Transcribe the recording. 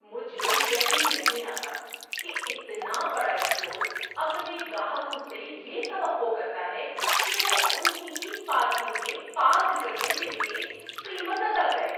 مجھے یقین نہیں آتا کہ اتنا بڑا اسٹور اپنے گاہکوں سے یہ توقع کرتا ہے کہ وہ ان ہی کی پارکنگ میں پارک کرنے کے لیے قیمت ادا کریں!